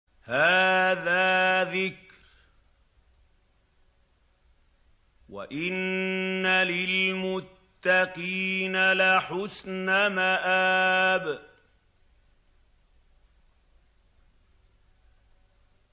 هَٰذَا ذِكْرٌ ۚ وَإِنَّ لِلْمُتَّقِينَ لَحُسْنَ مَآبٍ